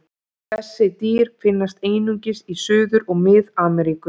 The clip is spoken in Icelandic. Þessi dýr finnast einungis í Suður- og Mið-Ameríku.